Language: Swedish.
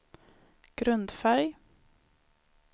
grundfärg